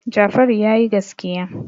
Jafaru ya yi gaskiya.